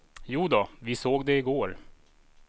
Jodå, vi såg det igår.